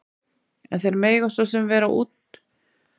En þeir mega svo sem vera útverðir frjálsrar hugsunar- í þykjustunni.